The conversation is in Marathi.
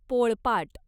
पोळपाट